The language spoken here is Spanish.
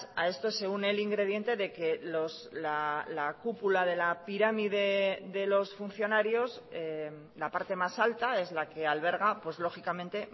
a esto se une el ingrediente de que la cúpula de la pirámide de los funcionarios la parte más alta es la que alberga pues lógicamente